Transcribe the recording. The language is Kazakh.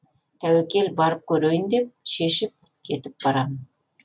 тәуекел барып көрейін деп шешіп кетіп барамын